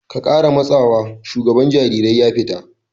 "Ka kara matsawa!" shugaban jarirai ya fita!